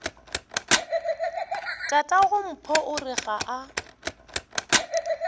tatagompho o re ga a